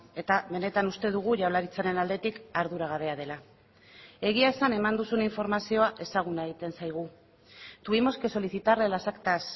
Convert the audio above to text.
eta benetan uste dugu jaurlaritzaren aldetik arduragabea dela egia esan eman duzun informazioa ezaguna egiten zaigu tuvimos que solicitarle las actas